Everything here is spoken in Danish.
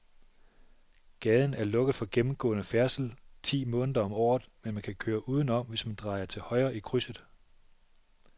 Gaden er lukket for gennemgående færdsel ti måneder om året, men man kan køre udenom, hvis man drejer til højre i krydset.